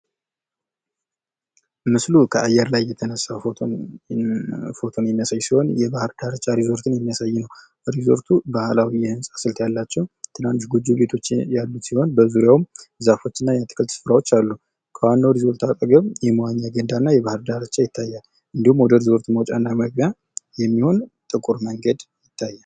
ምስሉ ከአየር ላይ የተነሳ ፎቶን የሚያሳይ ሲሆን የባህር ዳርቻን ሪዞርት የሚያሳይ ነው ።ሪዞርቱ የባህላዊ አሰራር የያዘ ጎጆ ቤት አለው። በዙሪያውም ዛፎችና አትክልቶች አሉት። ዋናው ሪዞርት አካባቢ ውሀና የመዋኛ ገንዳ ይታያል። መግቢያው ላይም ጥቁር መንገድ አለ።